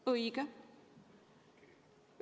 Õige!